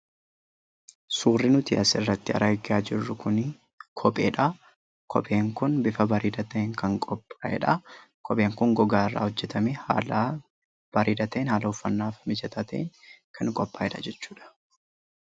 Suurri nuti asirratti argaa jirru kuni kopheedha. Kopheen kun bifa bareedaa ta'een kan qophaa'edha. Kopheen kun gogaarraa hojjetamee haala bareedaa ta'een, haala uffatnaaf mijataa ta'een kan qophaa'edha jechuudha.